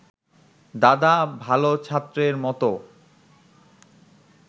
দাদা ভাল ছাত্রের মত